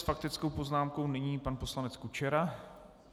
S faktickou poznámkou nyní pan poslanec Kučera.